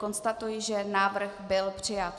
Konstatuji, že návrh byl přijat.